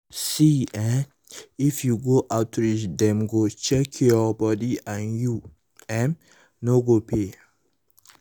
see eh if you go outreach dem go chheck your body and you um no go pay.